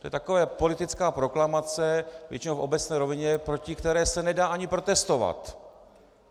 To je taková politická proklamace, většinou v obecné rovině, proti které se nedá ani protestovat.